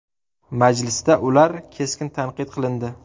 Majlisda ular keskin tanqid qilindi.